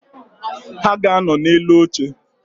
Ha ga-anọ na-elu oche